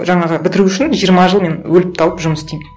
жаңағы бітіру үшін жиырма жыл мен өліп талып жұмыс істеймін